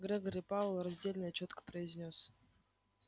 грегори пауэлл раздельно и чётко произнёс